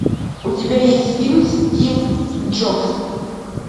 у тебя есть фильм стив джобс